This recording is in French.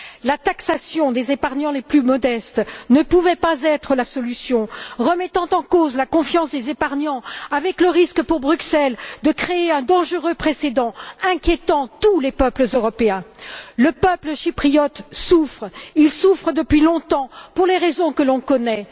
La taxation des épargnants les plus modestes ne pouvait pas être la solution, car elle remet en cause la confiance des épargnants, avec le risque pour Bruxelles de créer un dangereux précédent inquiétant tous les peuples européens. Le peuple chypriote souffre. Il souffre depuis longtemps pour les raisons que l'on connaît.